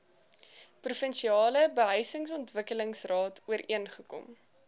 provinsiale behuisingsontwikkelingsraad ooreengekom